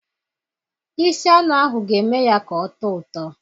Isi anụ ahụ ga-eme ya ka ọ tọọ ụtọ